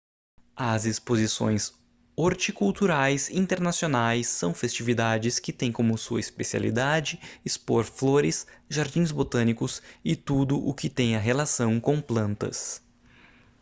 as exposições horticulturais internacionais são festividades que tem como sua especialidade expor flores jardins botânicos e tudo o que tenha relação com plantas